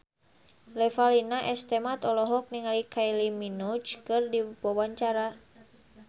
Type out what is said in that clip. Revalina S. Temat olohok ningali Kylie Minogue keur diwawancara